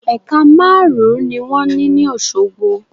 Ẹ̀ka márùn ún ni wón ní ní Òsogbo